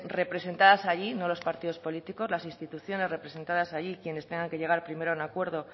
representadas allí no los partidos políticos las instituciones representadas allí quienes tengan que llegar primero a un acuerdo